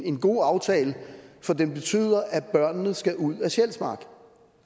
en god aftale for den betyder at børnene skal ud af sjælsmark